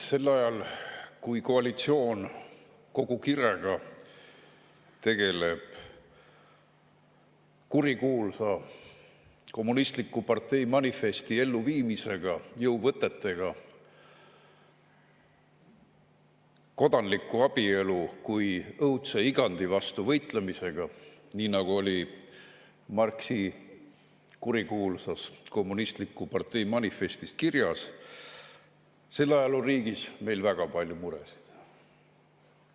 Sel ajal, kui koalitsioon kogu kirega tegeleb kurikuulsa "Kommunistliku partei manifesti" elluviimisega jõuvõtete abil, kodanliku abielu kui õudse igandi vastu võitlemisega, nii nagu oli Marxi kurikuulsas "Kommunistliku partei manifestis" kirjas, on meil riigis väga palju muresid.